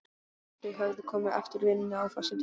Þau höfðu komið eftir vinnu á föstudegi.